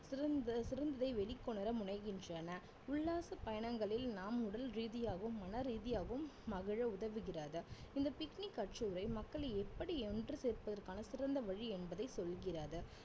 சிறந்த~ சிறந்ததை வெளிக்கொணர முனைகின்றன உல்லாச பயணங்களில் நாம் உடல் ரீதியாகவும் மன ரீதியாகவும் மகிழ உதவுகிறது இந்த picnic கட்டுரை மக்கள் எப்படி ஒன்று சேர்ப்பதற்கான சிறந்த வழி என்பதை சொல்கிறது